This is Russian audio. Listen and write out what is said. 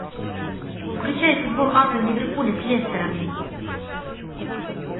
включай футбол апл ливерпуля с лестером